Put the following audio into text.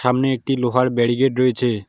সামনে একটি লোহার ব্যারিকেড রয়েছে।